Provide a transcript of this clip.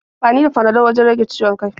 Ana amfani da Panadol wajen rage ciwon kai.